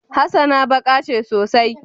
hassana baka ce sosai